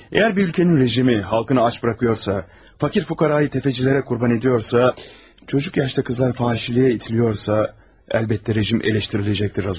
Əgər bir ölkənin rejimi xalqını aç bırakıyorsa, fakir-füqaranı təfəçilərə qurban ediyorsa, çocuk yaşda qızlar fahişəliyə itilirsə, əlbəttə rejim tənqid ediləcəkdir, Razumihin.